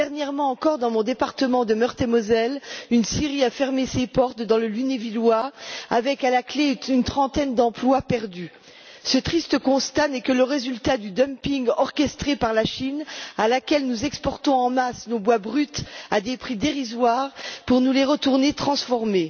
Dernièrement encore, dans mon département de Meurthe et Moselle, une scierie a fermé ses portes dans le Lunévillois avec, à la clé, une trentaine d'emplois perdus. Ce triste constat n'est que le résultat du dumping orchestré par la Chine vers laquelle nous exportons en masse nos bois bruts à des prix dérisoires pour nous les retourner transformés.